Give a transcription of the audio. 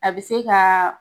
A bɛ se kaaaa.